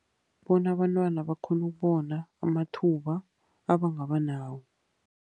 Bona abantwana bakghone ukubona amathuba abangaba nawo.